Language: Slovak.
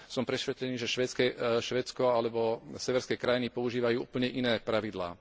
Som presvedčený, že Švédsko alebo severské krajiny používajú úplne iné pravidlá.